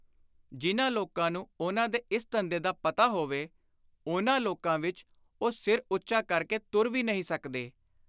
ਜਿਨ੍ਹਾਂ ਲੋਕਾਂ ਨੂੰ ਉਨ੍ਹਾਂ ਦੇ ਇਸ ਧੰਦੇ ਦਾ ਪਤਾ ਹੋਵੇ, ਉਨ੍ਹਾਂ ਲੋਕਾਂ ਵਿਚ ਉਹ ਸਿਰ ਉੱਚਾ ਕਰ ਕੇ ਤੁਰ ਵਿਰ ਨਹੀਂ ਸਕਦੇ।